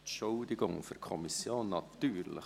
Entschuldigung: für die Kommission natürlich.